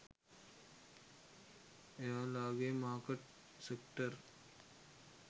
එයාලාගෙ market sector